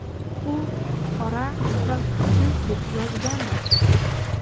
U qora va kuchsiz”, deb yozgandi.